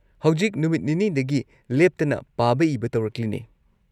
ꯍꯧꯖꯤꯛ ꯅꯨꯃꯤꯠ ꯅꯤꯅꯤꯗꯒꯤ ꯂꯦꯞꯇꯅ ꯄꯥꯕ ꯏꯕ ꯇꯧꯔꯛꯂꯤꯅꯦ꯫